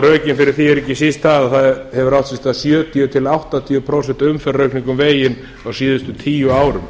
eru ekki síst þau að það hafa átt sér stað sjötíu til áttatíu prósent umferðaraukning um veginn á síðustu tíu árum